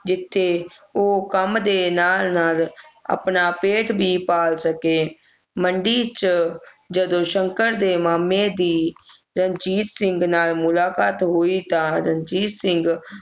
ਜਿਥੇ ਉਹ ਕੰਮ ਦੇ ਨਾਲ ਨਾਲ ਆਪਣਾ ਪੇਟ ਵੀ ਪਾਲ ਸਕੇ ਮੰਡੀ ਚ ਜਦੋਂ ਸ਼ੰਕਰ ਦੇ ਮਾਮੇ ਦੀ ਰਣਜੀਤ ਸਿੰਘ ਨਾਲ ਮੁਲਾਕਾਤ ਹੋਈ ਤਾਂ ਰਣਜੀਤ ਸਿੰਘ